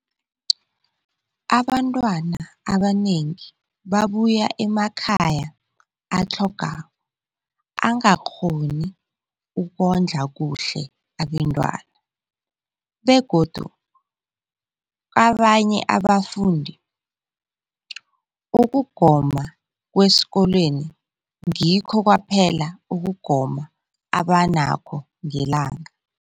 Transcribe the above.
Abantwana abanengi babuya emakhaya atlhagako angakghoni ukondla kuhle abentwana, begodu kabanye abafundi, ukugoma kwesikolweni ngikho kwaphela ukugoma abanakho ngelanga.